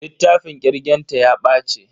Littafin kirgen ta ya bace.